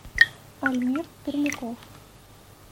альмир пермяков